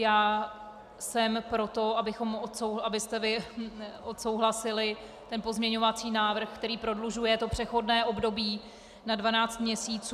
Já jsem pro to, abyste vy odsouhlasili ten pozměňovací návrh, který prodlužuje přechodné období na 12 měsíců.